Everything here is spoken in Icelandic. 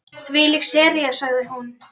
Þvílík sería sagði hún.